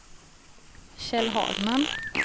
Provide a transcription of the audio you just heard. Kjell Hagman